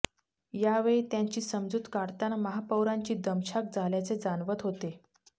यावेळी त्यांची समजूत काढतांना महापौरांची दमछाक झाल्याचे जाणवत होते